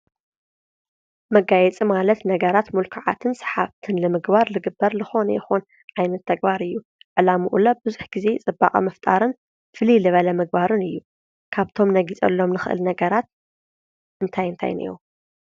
መጋየፂ ማለት ነገራት ምልኩዓትን ሰሓብትን ንምግባር ዝግበር ዝኾነ ይኹን ዓይነት ተግባር እዩ። ዕላማኡለ ብዙሕ ግዜ ፅባቐ ምፍጣርን ፍልይ ልበለ ምግባርን እዩ። ካብቶም ነጊፀሎም ንኽእል ነገራት እንታይ እንታይን እዮም ?